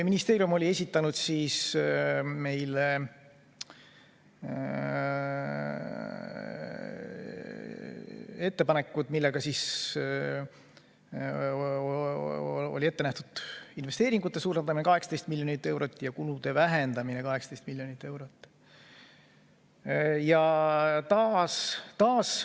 Ministeerium oli esitanud ettepanekud, millega oli ette nähtud investeeringute suurendamine 18 miljoni euro võrra ja kulude vähendamine 18 miljoni euro võrra.